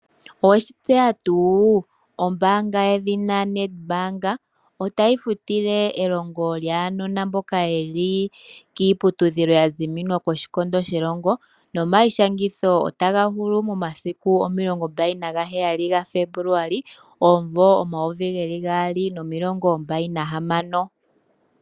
Oweshi tseya tuu ombanga yedhina NedBank, otayi futile elingo lyaanona mboka yeli kiiputudhilo ya ziminwa koshikondo shelongo nomayishangitho ota ga hulu momasiku 27 Febuluali 2026.